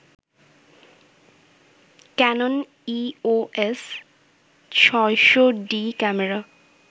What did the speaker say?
Canon EOS ৬০০ডি camera